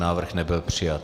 Návrh nebyl přijat.